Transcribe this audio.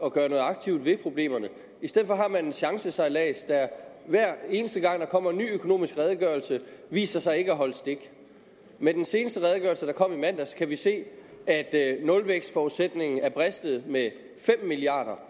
at gøre noget aktivt ved problemerne i stedet har man en chancesejlads der hver eneste gang der kommer en ny økonomisk redegørelse viser sig ikke at holde stik med den seneste redegørelse der kom i mandags kan vi se at at nulvækstforudsætningen er bristet med fem milliard